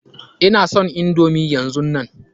Ina son indomi yanzunnan.